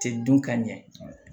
Tɛ dun ka ɲɛ